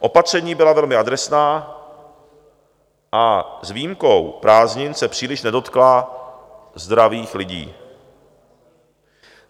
Opatření byla velmi adresná a s výjimkou prázdnin se příliš nedotkla zdravých lidí.